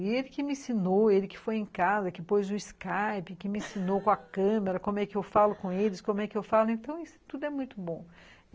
E ele que me ensinou, ele que foi em casa, que pôs o Skype, que me ensinou com a câmera, como é que eu falo com eles, como é que eu falo, então isso tudo é muito bom.